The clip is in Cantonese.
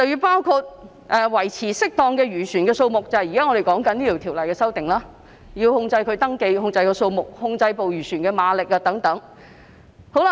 包括要維持適當的漁船數目，即現時《條例草案》提出的修訂，要控制漁船的登記、數目及馬力等。